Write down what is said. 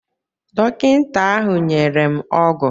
Dọkịta ahụ nyere m ọgwụ